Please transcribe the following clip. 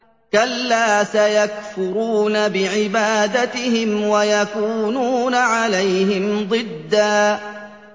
كَلَّا ۚ سَيَكْفُرُونَ بِعِبَادَتِهِمْ وَيَكُونُونَ عَلَيْهِمْ ضِدًّا